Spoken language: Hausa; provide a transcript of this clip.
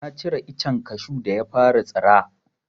Na cire icen kashu da ya fara tsira.